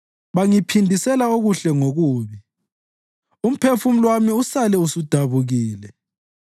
Bangiphindisela okuhle ngokubi umphefumulo wami usale usudabukile.